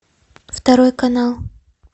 второй канал